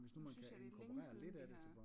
Nu synes jeg det er længe siden vi har